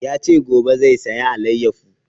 Ya ce gobe zai saya alayyafo